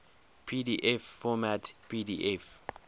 pdf format pdf